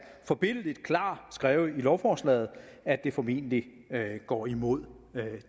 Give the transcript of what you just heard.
forbilledligt klart skrevet i lovforslaget at det formentlig går imod